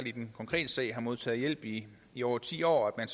i den konkrete sag har modtaget hjælp i i over ti år at